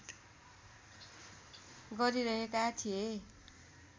गरिहेका थिए